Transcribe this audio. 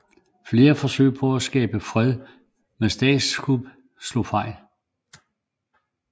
Flere forsøg på at skabe fred med statskup slog fejl